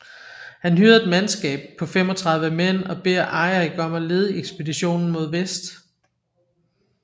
Han hyrede et mandskab på 35 mænd og beder Eirik om at lede ekspeditionen mod vest